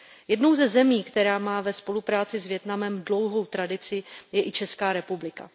Jednou ze zemí, která má ve spolupráci s Vietnamem dlouhou tradici, je i Česká republika.